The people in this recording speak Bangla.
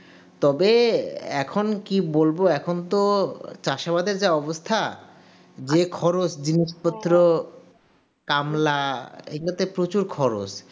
তবে এখন কি বলব এখন তো চাষে আমাদের যা অবস্থা যে খরচ জিনিসপত্র কামলা এই প্রচুর খরচ